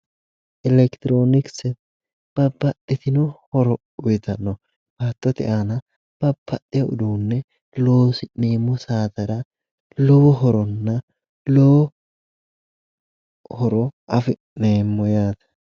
Elekitiroonikise babbaxitino horo uuyiitanno. baattote aana babbaxewo loosi'neemmo saatera lowo horonna lowo horo afi'neemmo yaate.